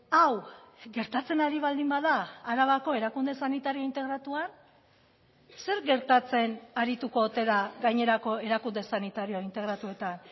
hau gertatzen ari baldin bada arabako erakunde sanitario integratuan zer gertatzen arituko ote da gainerako erakunde sanitario integratuetan